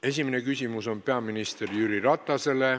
Esimene küsimus on peaminister Jüri Ratasele.